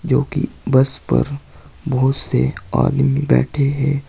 जो कि बस पर बहुत से आदमी बैठे हैं।